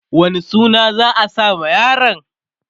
wane suna za'a sa ma yaron?